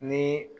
Ni